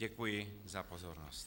Děkuji za pozornost.